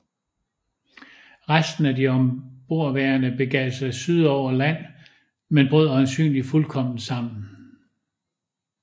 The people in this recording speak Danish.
Resten af de ombordværende begav sig syd på over land men brød øjensynligt fuldkommen sammen